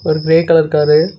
ஒரு grey colour car .